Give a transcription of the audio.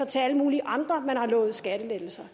til alle mulige andre man har lovet skattelettelser